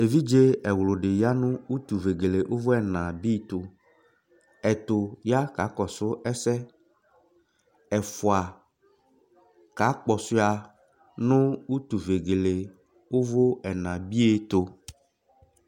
Evidzé ɛwlũ dĩ ya nu utuvegelé uvũ ɛnà bí tuu Ɛtũ ya kakɔsu ɛsɛ, ɛfua ka kpɔshuá nũ utuvegelé uvú ɛnà bie tű